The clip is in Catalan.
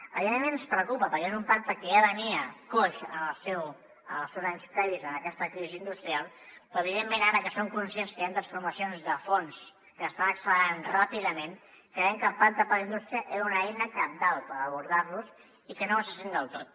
evidentment ens preocupa perquè és un pacte que ja venia coix en els seus anys previs a aquesta crisi industrial però evidentment ara que som conscients que hi han transformacions de fons que estan accelerant ràpidament creiem que el pacte per la indústria era una eina cabdal per abordar los i que no ho està sent del tot